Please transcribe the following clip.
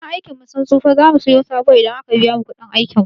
Kayan aikin mu sun tsufa, za mu siya sabo idan a ka biya mu kuɗin aikin mu.